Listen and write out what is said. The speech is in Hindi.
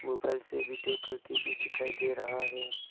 ऊपर से वीडियो करके भी दिखाई दे रहा है।